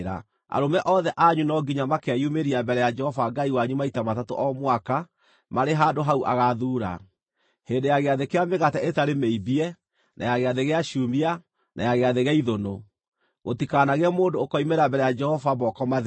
Arũme othe anyu no nginya makeyumĩria mbere ya Jehova Ngai wanyu maita matatũ o mwaka marĩ handũ hau agaathuura: hĩndĩ ya Gĩathĩ kĩa Mĩgate ĩtarĩ Mĩimbie, na ya Gĩathĩ gĩa Ciumia, na ya Gĩathĩ gĩa Ithũnũ. Gũtikanagĩe mũndũ ũkoimĩra mbere ya Jehova moko matheri: